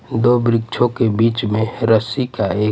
दो वृक्षों के बीच में रस्सी का एक--